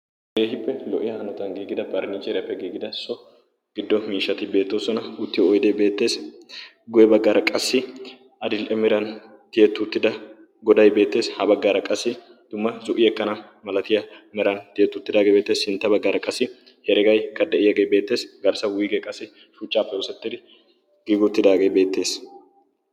keehippe lo''iyaa hanotan giigida parnniicheeriyaappe giigida so giddo miishati beettoosona uttiyo oiydee beettees guye baggaara qassi adil''e miran tiyeti uttida goday beettees ha baggaara qassi dumma zo'i ekkana malatiya meran tiyeetuttidaagee beettee sintte baggaara qassi heregaikka de7iyaagee beettees garssau wuigee qassi shuchchaappe osettidi giiguttidaagee beettees